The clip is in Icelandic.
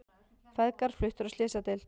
Feðgar fluttir á slysadeild